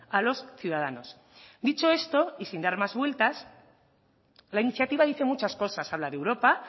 a los ciudadanos dicho esto y sin dar más vueltas la iniciativa dice muchas cosas habla de europa